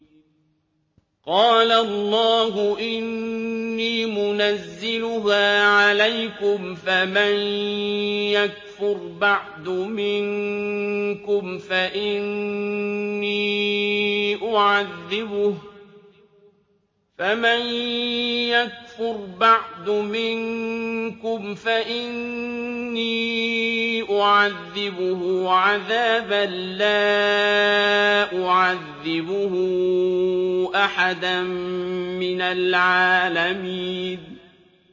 قَالَ اللَّهُ إِنِّي مُنَزِّلُهَا عَلَيْكُمْ ۖ فَمَن يَكْفُرْ بَعْدُ مِنكُمْ فَإِنِّي أُعَذِّبُهُ عَذَابًا لَّا أُعَذِّبُهُ أَحَدًا مِّنَ الْعَالَمِينَ